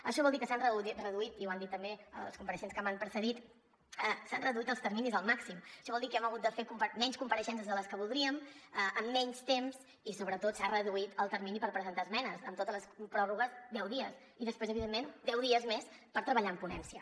això vol dir que s’han reduït i ho han dit també els compareixents que m’han precedit els terminis al màxim això vol dir que hem hagut de fer menys compareixences de les que voldríem en menys temps i sobretot s’ha reduït el termini per presentar esmenes amb totes les pròrrogues deu dies i després evidentment deu dies més per treballar en ponència